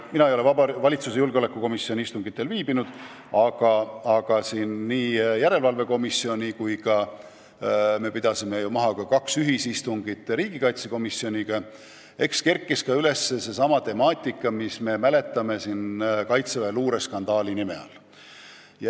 Mina ei ole valitsuse julgeolekukomisjoni istungitel viibinud, aga julgeolekuasutuste järelevalve erikomisjon pidas maha kaks ühisistungit riigikaitsekomisjoniga ja seal kerkis ka üles temaatika, mida me tunneme Kaitseväe luureskandaali nime all.